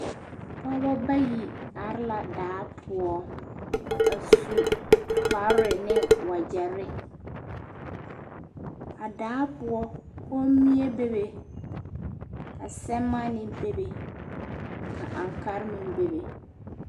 Pɔgeba bayi are la daa poɔ a su kpare ne wagyɛre a daa poɔ kommie bebe ka sɛmaanee bebe ka ankaare meŋ bebe.